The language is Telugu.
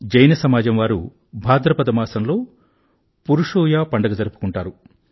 జైన సమాజంవారు భాద్రపద మాసంలో పురుషూయ పండుగ జరుపుకుంటారు